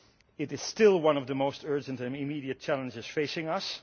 It is still one of the most urgent and immediate challenges facing us.